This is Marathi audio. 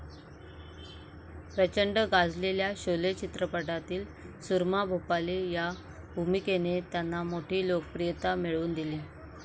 प्रचंड गाजलेल्या शोले चित्रपटातील सुरमा भोपाली या भूमिकेने त्यांना मोठी लोकप्रियता मिळवून दिली.